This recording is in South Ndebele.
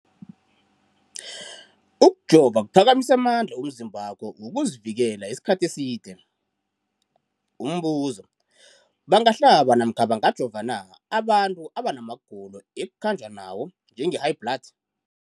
Ukujova kuphakamisa amandla womzimbakho wokuzivikela isikhathi eside. Umbuzo, bangahlaba namkha bangajova na abantu abana magulo ekukhanjwa nawo, njengehayibhladi?